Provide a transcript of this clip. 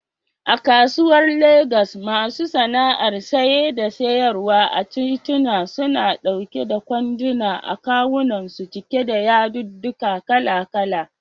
A kasuwar Legas, masu sana'ar saye da siyarwa a tituna, suna ɗauke da kwanduna a kawunansu cike da yadudduka kala-kala.